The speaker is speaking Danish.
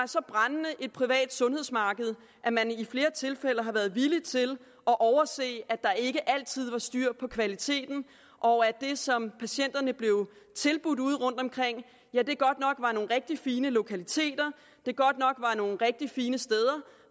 et privat sundhedsmarked at man i flere tilfælde har været villig til at overse at der ikke altid var styr på kvaliteten og at det som patienterne blev tilbudt ude rundtomkring godt nok var nogle rigtig fine lokaliteter godt nok var nogle rigtig fine steder